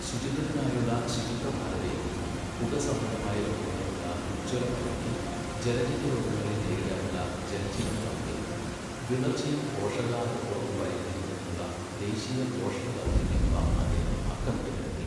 ശുചിത്വത്തിനായുള്ള ശുചിത്വഭാരതയജ്ഞം, പുക സംബന്ധമായ രോഗങ്ങൾക്കുള്ള ഉജ്ജ്വല പദ്ധതി, ജലജന്യ രോഗങ്ങളെ നേരിടാനുള്ള ജൽ ജീവൻ ദൗത്യം, വിളർച്ചയും പോഷകാഹാരക്കുറവും പരിഹരിക്കുന്നതിനുള്ള ദേശീയ പോഷണ ദൗത്യം എന്നിവ അദ്ദേഹം അക്കമിട്ടു നിരത്തി.